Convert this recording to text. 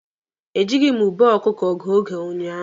E jịghị m ube ọkụkọ gụọ oge ụnyaahụ.